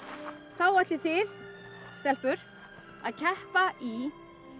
þá ætlið þið stelpur að keppa í